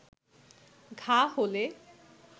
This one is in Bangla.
ঘা হলে